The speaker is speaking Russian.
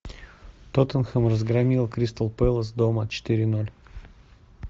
тоттенхэм разгромил кристал пэлас дома четыре ноль